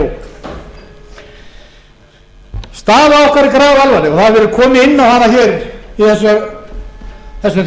okkur staða okkar er grafalvarleg og það hefur verið komið inn á hana í þessum